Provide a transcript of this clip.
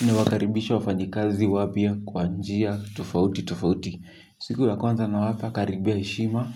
Ninawakaribisha wafanyi kazi wapya kwa njia tofauti tofauti. Siku ya kwanza na wafakaribia heshima